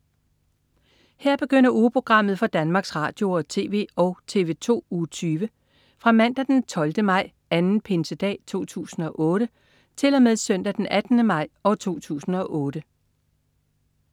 Her begynder ugeprogrammet for Danmarks Radio- og TV og TV2 Uge 20 Fra Mandag den 12. maj. Anden pinsedag 2008 Til Søndag den 18. maj 2008